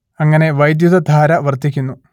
അങ്ങനെ വൈദ്യുതധാര വർദ്ധിക്കുന്നു